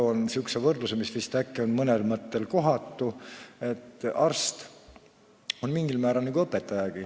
Ma toon säärase võrdluse, mis vist mõnes mõttes on kohatu, et arst on mingil määral nagu õpetaja.